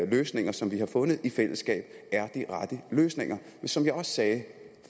løsninger som vi har fundet i fællesskab er de rette løsninger som jeg også sagde